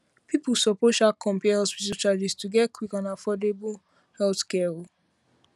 people suppose um compare um hospital charges to get quick and affordable um healthcare